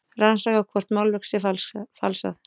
Rannsaka hvort málverk sé falsað